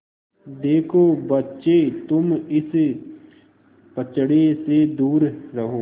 देखो बच्चे तुम इस पचड़े से दूर रहो